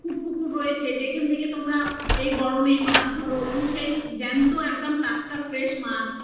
টুকুর রয়েছে যেখান থেকে তোমরা এই গরম এ মাছ ধরো এবং সেই টাটকা fresh মাছ